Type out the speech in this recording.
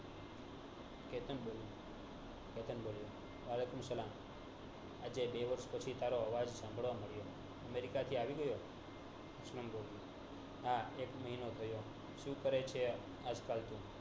કેતન બોલ્યો આજે બે વરસ પછી તારો આવાજ઼ સાંબડવા માંડ્યો અમેરિકાથી આવી ગયો હા એક મહિનો થયો સુ કરે છે આજ કાલ તું